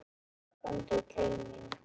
Komdu til mín.